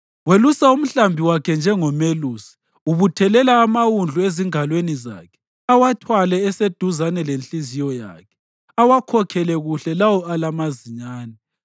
Welusa umhlambi wakhe njengomelusi: ubuthelela amawundlu ezingalweni zakhe awathwale eseduzane lenhliziyo yakhe; awakhokhele kuhle lawo alamazinyane.